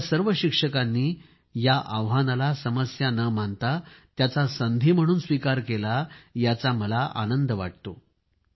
आपल्या सर्व शिक्षकांनी या आव्हानाला समस्या न मानता त्याचा संधी म्हणून स्वीकार केला याचा मला आनंद वाटतो